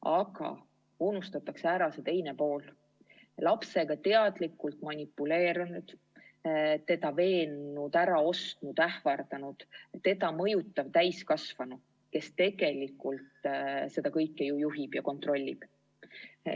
Aga unustatakse ära see teine pool, lapsega teadlikult manipuleerinud, teda veennud, äraostnud, ähvardanud, teda mõjutav täiskasvanu, kes tegelikult seda kõike ju juhib ja kontrollib.